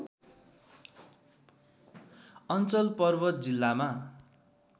अञ्चल पर्वत जिल्लामा